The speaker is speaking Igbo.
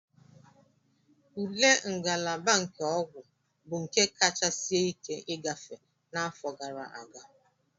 Ule ngalaba nke ọgwụ bụ nke kacha sie ike ịgafe n'afọ gara aga